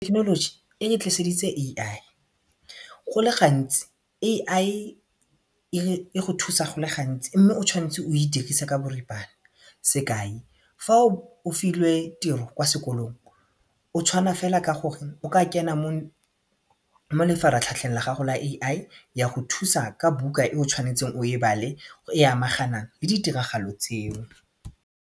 Thekenoloji ere tliseditse AI, go le gantsi AI e go thusa go le gantsi mme o tshwanetse o e dirise ka boripana sekai fa o filwe tiro kwa sekolong o tshwana fela ka gore o ka kena mo lefaratlhatlheng la gago la AI ya go thusa ka buka e o tshwanetseng o e bale e amaganang le ditiragalo tseo.